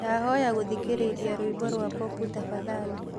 ndahoya gũthĩkĩrĩrĩa rwĩmbo rwa popu tafadhalĩ